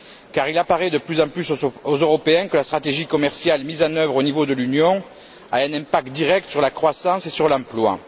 car il apparaît de plus en plus aux Européens que la stratégie commerciale mise en œuvre au niveau de l'Union a un impact direct sur la croissance et sur l'emploi.